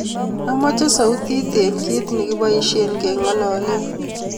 Amache sautit eng kiit negipoishen kengololen